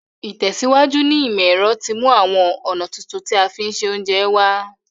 Ìtẹ̀síwájú ní ìmọ̀ ero ti mú àwon ọ̀nà tuntun ti a fi n se ounje wa